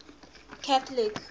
catholic